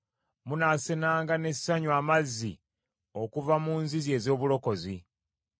Munaasenanga n’essanyu amazzi okuva mu nzizi ez’obulokozi.